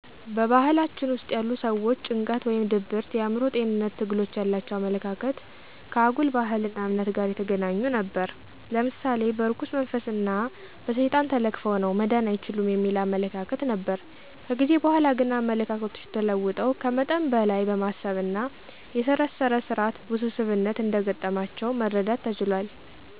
በባህላችን ውስጥ ያሉ ሠዎች ጭንቀት ወይም ድብርት የአእምሮ ጤንነት ትግሎች ያላቸው አመለካከት ከአጉል ባህል እና እምነት ጋር የተገናኙ ነበር። ለምሳሌ በእርኩስ መንፈስ እን በሠይጣን ተለክፈው ነው መዳን አይችሉም የሚል አመለካከት ነበር። ከጊዜ በኃላ ግን አመለካከቶች ተለውጠው ከመጠን በለይ በማሰብ እና የሠረሰር ስራት ውስብስብነት እንደ ገጠማቸው መረዳት ተችሏል።